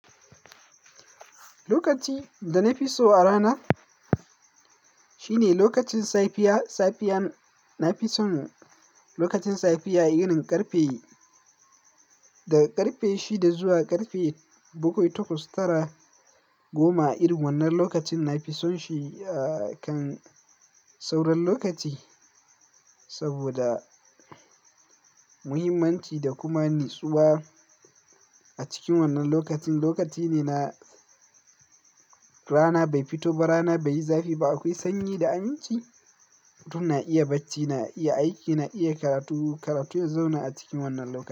Lokaci da na fi so a rana, shine lokacin safiya. Safiyan na fi son lokacin safiya irin ƙarfe shida zuwa ƙarfe bakwai takwas tara goma. Irin wannan lokacin na fi son shi akan sauran lokaci, saboda muhimmanci da kuma nitsuwa a cikin wannan lokaci. Lokaci ne na rana bai fito ba, rana bai yi zafi ba. Akwai sanyi da aminci. Mutum na iya bacci, na iya aiki, na iya karatu, karatu ya zauna a cikin wannan lokaci.